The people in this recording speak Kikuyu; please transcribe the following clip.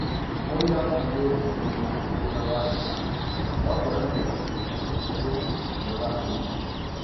Mũira nĩ ũrĩa wĩna ũira wa hinya wa kuonania atĩ ũndũ nĩ ũrahanĩkire